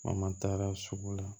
An taara sugu la